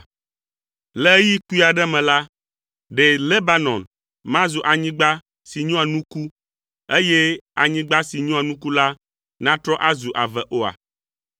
Le ɣeyiɣi kpui aɖe me la, ɖe Lebanon mazu anyigba si nyoa nuku, eye anyigba si nyoa nuku la natrɔ azu ave oa?